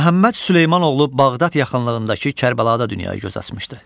Məhəmməd Süleyman oğlu Bağdad yaxınlığındakı Kərbəlada dünyaya göz açmışdı.